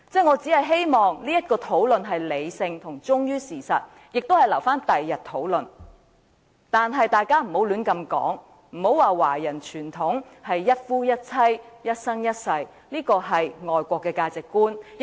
我只是希望這是理性並忠於事實的討論，亦可留待日後討論，但大家不要亂說華人傳統是一夫一妻及一生一世，這是外國的價值觀。